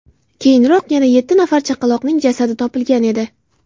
Keyinroq yana yetti nafar chaqaloqning jasadi topilgan edi .